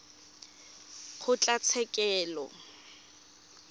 kgotlatshekelo